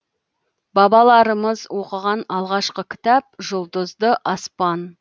бабаларымыз оқыған алғашқы кітап жұлдызды аспан